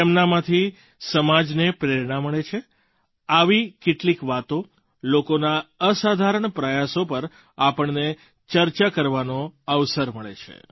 તેમનામાંથી સમાજને પ્રેરણા મળે આવી કેટલીક વાતો લોકોના અસાધારણ પ્રયાસો પર આપણને ચર્ચા કરવાનો અવસર મળે છે